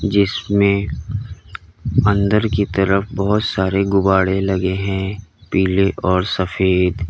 जिसमें अंदर की तरफ बहोत सारे गुब्बाडे लगे हैं पीले और सफेद।